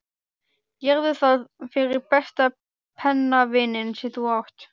Gerðu það fyrir besta pennavininn sem þú átt.